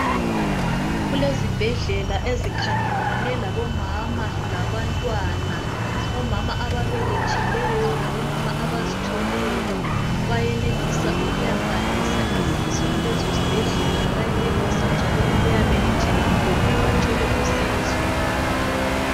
Kulezibhedlela ezikhangelane labomama labantwana. Omama ababelethileyo labomama abazithweleyo bayenelisa ukuyabhalisa izisu kulezo zibhedlela. Bayenelisa njalo ukuyabelethela khona bathole usizo.